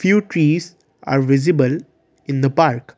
few trees are visible in the park.